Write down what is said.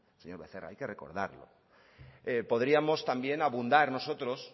señor becerra hay que recordarlo podríamos también abundar nosotros